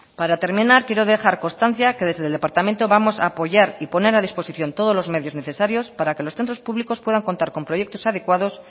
para terminar quiero dejar constancia que desde el departamento vamos a apoyar y poner a disposición todos los medios necesarios para que los centros públicos puedan contar con proyectos adecuados